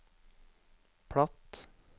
platt